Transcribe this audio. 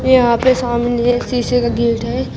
यहां पे सामने एक शीशे का गेट है।